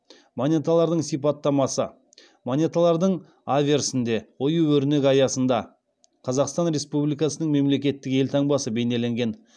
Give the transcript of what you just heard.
монеталардың сипаттамасы монеталардың аверсінде ою өрнек аясында қазақстан республикасының мемлекеттік елтаңбасы бейнеленген